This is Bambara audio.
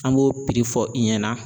An b'o piri fɔ i ɲɛna.